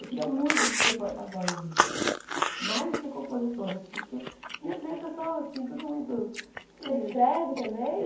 Eu queria muito ser porta-voz disso, mais do que compositora, assim, porque minhas letras são, assim, tudo muito... Você escreve também?